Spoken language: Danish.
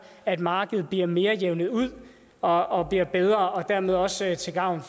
at markedet bliver mere jævnet ud og bliver bedre og dermed også til gavn